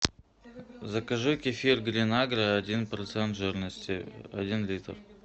закажи кефир гринагро один процент жирности один литр